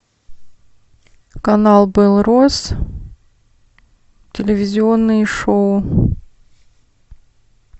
канал белрос телевизионные шоу